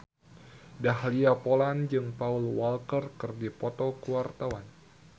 Dahlia Poland jeung Paul Walker keur dipoto ku wartawan